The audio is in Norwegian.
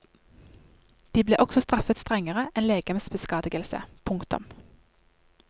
De ble også straffet strengere enn legemsbeskadigelse. punktum